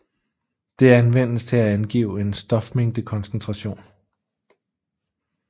Det anvendes til at angive en stofmængdekoncentration